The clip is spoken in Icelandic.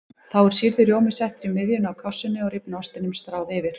Þá er sýrður rjómi settur í miðjuna á kássunni og rifna ostinum stráð yfir.